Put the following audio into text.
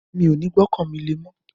Mi ò ní gbọ́kàn mi lé mọ́